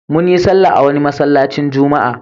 Mun yi sallah a wani masallacin juma'a.